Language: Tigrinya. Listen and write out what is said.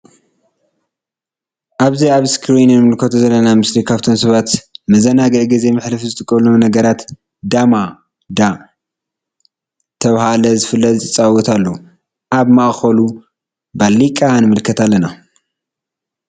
አእዚ አብ እስክሪን እንምልከቶ ዘለና ምስሊ ካብቶም ሰባት ንመዘናግዒ ጊዜ መሕለፊ ዝጠቅሙ ነገራት ዳማ ዳ ተብሃለ ዝፍለጥ ይፃወቱ አለዉ::አብ ማእከሉ ባሊቃ ንምልከት አለና::